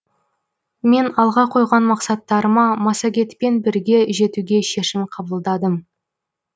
мен алға қойған мақсаттарыма массагетпен бірге жетуге шешім қабылдадым